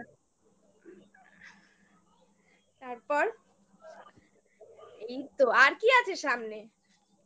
তারপর এই তো আর কি আছে সামনে